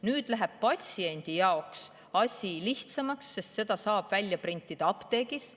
Nüüd läheb patsiendi jaoks asi lihtsamaks, seda saab printida apteegis.